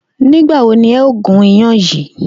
Nì́gbà wo ni e̩ óò gún iyán yìí?